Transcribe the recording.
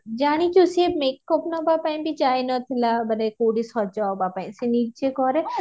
ଜାଣିଛୁ ସେ makeup ନବା ପାଇଁ ବି ଯାଇ ନଥିଲା ମାନେ କୋଉଠି ସଜ ହବା ପାଇଁ ସେ ନିଜେ କରେ